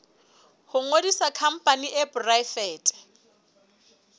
ho ngodisa khampani e poraefete